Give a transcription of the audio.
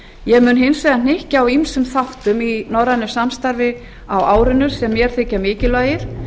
ég mun hins vegar hnykkja á ýmsum þáttum í norrænu samstarfi á árinu sem mér þykja mikilvægir